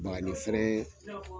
Bagani feere